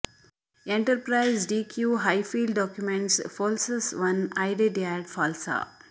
enterprise D Q highfield documents falses one ಐಡೆಡ್ಯಾಡ್ ಫಾಲ್ಸಾ